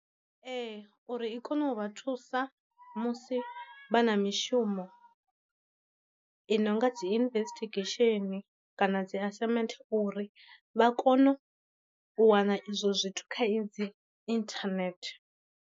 Ee uri i kone u vha thusa musi vha na mishumo i no nga dzi investigesheni kana dzi assignment, uri vha kone u wana izwo zwithu kha i dzi inthanethe.